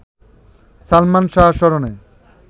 সালমান শাহ স্মরণে